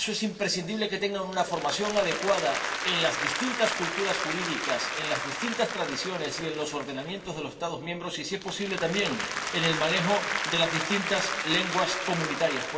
Y para eso es imprescindible que tengan una formación adecuada en las distintas culturas jurídicas, en las distintas tradiciones y en los ordenamientos de los Estados miembros, y, si es posible también, en el manejo de las distintas lenguas comunitarias.